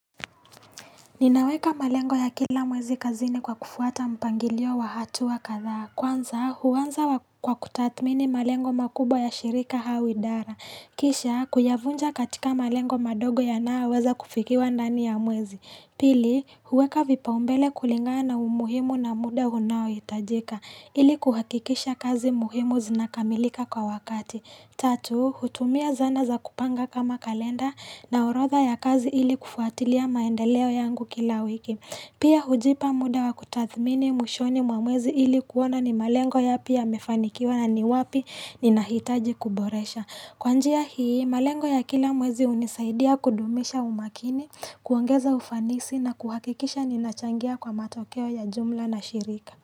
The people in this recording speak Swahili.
Ninaweka malengo ya kila mwezi kazini kwa kufuata mpangilio wa hatua kadhaa. Kwanza, huanza kwa kutathmini malengo makubwa ya shirika au idara. Kisha, kuyavunja katika malengo madogo yanayoweza kufikiwa ndani ya mwezi. Pili, huweka vipaumbele kulingana na umuhimu na muda unaohitajika. Ili kuhakikisha kazi muhimu zinakamilika kwa wakati. Tatu, hutumia zana za kupanga kama kalenda na orodha ya kazi ili kufuatilia maendeleo yangu kila wiki. Pia hujipa muda wa kutathmini mwishoni mwa mwezi ili kuona ni malengo yapi yamefanikiwa na ni wapi ninahitaji kuboresha. Kwa njia hii, malengo ya kila mwezi hunisaidia kudumisha umakini, kuongeza ufanisi na kuhakikisha ninachangia kwa matokeo ya jumla na shirika.